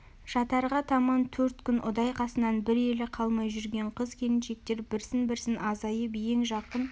жатарға таман төрт күн ұдай қасынан бір елі қалмай жүрген қыз келіншектер бірсін-бірсін азайып ең жақын